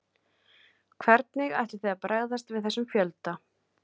Hvernig ætlið þið að bregðast við þessum fjölda?